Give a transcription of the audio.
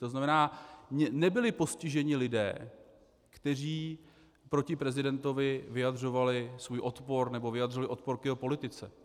To znamená, nebyli postiženi lidé, kteří proti prezidentovi vyjadřovali svůj odpor nebo vyjadřovali odpor k jeho politice.